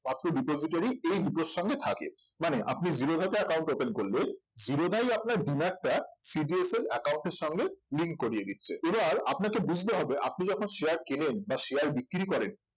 মাত্র এই দুটোর সঙ্গে থাকে মানে আপনি জিরোধা তে account open করলে জিরোধাই আপনার demat টা CDSL account এর সাথে link করিয়ে দিচ্ছে এবার আপনাকে বুঝতে হবে আপনি যখন share কেনেন বা share বিক্রি করেন